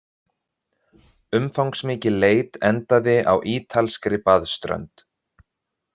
Umfangsmikil leit endaði á ítalskri baðströnd